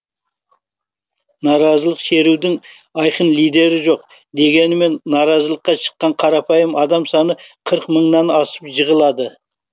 наразылық шерудің айқын лидері жоқ дегенмен наразылыққа шыққан қарапайым адам саны қырық мыңнан асып жығылады